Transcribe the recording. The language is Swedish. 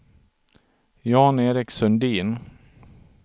Jan-Erik Sundin